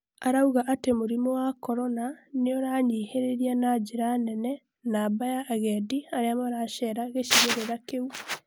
arauga atĩ mũrimũ wa Korona niũrahinyĩrĩria na njĩra nene namba ya agendi, aria maracera gĩcigĩrĩra kĩu